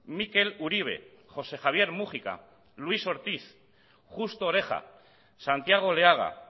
mikel uribe josé javier múgica luis ortíz justo oreja santiago oleaga